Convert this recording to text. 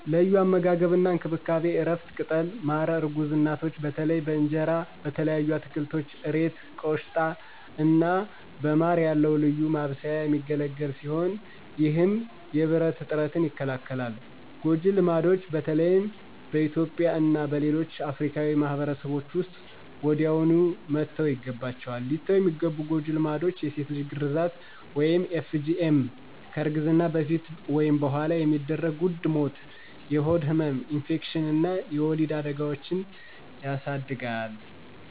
ለዩ አመጋገብ አና እንከብካቤ(እረፍት፣ ቅጠሎች፣ ማረ እርጉዝ እናቶች በተለይ በእንጀራ፣ በተለያዩ አትከልቶች (እሬት፣ ቆሽታ )አና በማረ ያለዉ ልዩ ማብሰያ የሚገለግል ሲሆነ ይህም የብረት እጥረትን ይከላከላል። ጎጀ ልማድች በተለይም በእትዩጵያ እና በሌሎች አፍርካዊ ማህበርሰቦች ዉስጥ ወዲያውኑ መተውይገባችዋል። ሊተዉ የሚገቡ ጎጂ ልማዶች የሴት ልጅ ግራዛት (FGM) ከእርግዝና በፈት ወይም በኋላ የሚደረግ ዉድ ሞት፣ የሆድ ህመም፣ ኢንፌክሽን አና የወሊድ አዳጋዎችን የስድጋል